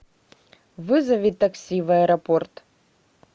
вызови такси в аэропорт